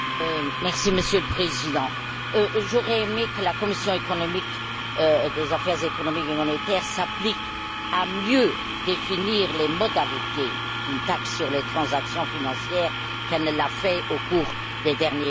Monsieur le Président, j'aurais aimé que la commission des affaires économiques et monétaires s'applique à mieux définir les modalités d'une taxe sur les transactions financières qu'elle ne l'a fait au cours des derniers mois.